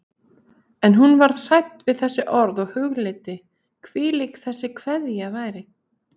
En hún varð hrædd við þessi orð og hugleiddi, hvílík þessi kveðja væri.